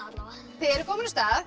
þið eruð komin á stað